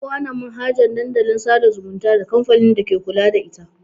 Ƙowana manhajan Dandalin sada zumunta da kamfanin dake kula da ita.